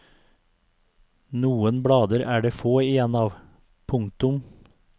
Noen blader er det få igjen av. punktum